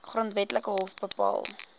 grondwetlike hof bepaal